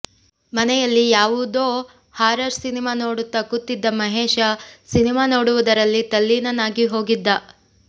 ಮನೆಯಲ್ಲಿ ಯಾವುದೋ horror cinema ನೋಡುತ್ತಾ ಕೂತಿದ್ದ ಮಹೇಶ ಸಿನೆಮಾ ನೋಡುವುದರಲ್ಲಿ ತಲ್ಲೀನನಾಗಿ ಹೋಗಿದ್ದ